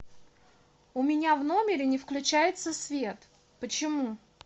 у меня в номере не включается свет почему